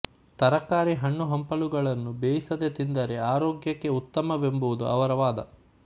ತರಕಾರಿ ಹಣ್ಣುಹಂಪಲುಗಳನ್ನು ಬೇಯಿಸದೆ ತಿಂದರೆ ಆರೋಗ್ಯಕ್ಕೆ ಉತ್ತಮವೆಂಬುದು ಅವರ ವಾದ